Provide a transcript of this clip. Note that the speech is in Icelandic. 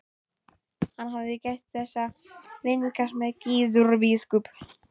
Hann hafði gætt þess að vingast við Gizur biskup.